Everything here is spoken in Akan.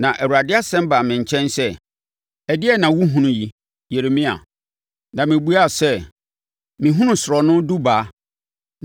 Na Awurade asɛm baa me nkyɛn sɛ, “Ɛdeɛn na wohunu yi, Yeremia?” Na mebuaa sɛ, “Mehunu sorɔno dubaa.”